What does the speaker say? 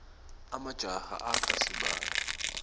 emajaha akha sibaya